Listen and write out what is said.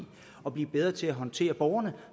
at blive bedre til at håndtere borgerne